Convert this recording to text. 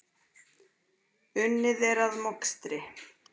Unnið er að mokstri.